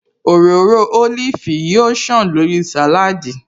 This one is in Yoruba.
Òróró ólífì yóò ṣàn lórí sàláádì